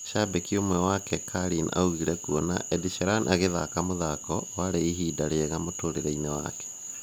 Shabiki umwe wake Kalynn augire kuona (Ed sheraan agĩthaka muthako) wari "ibida rĩega mũtũrireini wake"